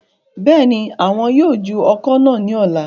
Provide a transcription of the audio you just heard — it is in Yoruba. Bẹ́ẹ̀ni, awọn wọn yóò ju ọ̀kọ̀ náà ní ọ̀la